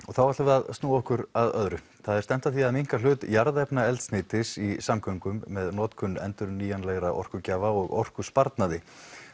þá ætlum við að snúa okkur að öðru það er stefnt að því minnka hlut jarðefnaeldsneytis í samgöngum með notkun endurnýjanlegra orkugjafa og orkusparnaði